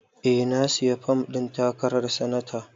Eh, na sayi fom ɗin takarar sanata